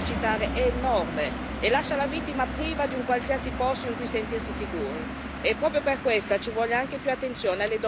Il controllo che un coniuge, un convivente, può esercitare è enorme e lascia la vittima priva di un qualsiasi posto in cui sentirsi sicura.